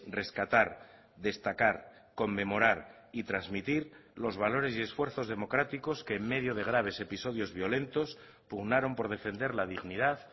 rescatar destacar conmemorar y transmitir los valores y esfuerzos democráticos que en medio de graves episodios violentos pugnaron por defender la dignidad